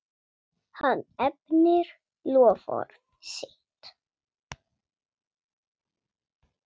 Hann efnir loforð sitt.